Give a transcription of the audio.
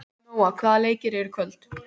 Nóa, hvaða leikir eru í kvöld?